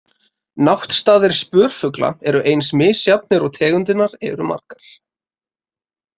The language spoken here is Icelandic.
Náttstaðir spörfugla eru eins misjafnir og tegundirnar eru margar.